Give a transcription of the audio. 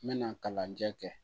N bɛna kalanjɛ kɛ